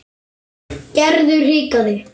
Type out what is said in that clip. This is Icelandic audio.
Gerður hikaði.